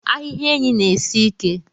Ahiha enyi na esi ike.